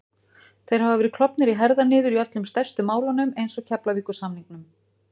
Þeir hafa verið klofnir í herðar niður í öllum stærstu málunum eins og Keflavíkursamningnum